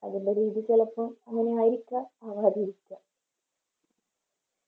അതിൻറെ രീതി ചെലപ്പോ അങ്ങനെ ആരിക്കാ അല്ലാതിരിക്ക